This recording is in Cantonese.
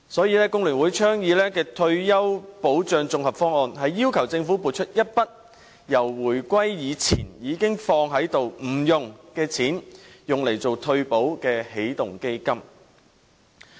因此，工聯會倡議的退休保障綜合方案，要求政府撥出一筆自回歸以前已預留不用的錢，用作退休保障的起動基金。